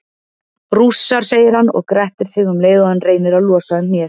Rússar, segir hann og grettir sig um leið og hann reynir að losa um hnéð.